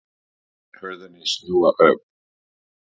Lét hurðina snúa upp.